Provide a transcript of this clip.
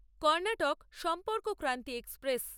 Karnataka Sampark Kranti express